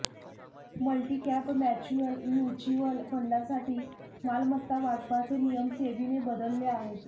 multicap mutual फंडसाठी मालमत्ता वाटपाचे नियम सेबीने बदलले आहेत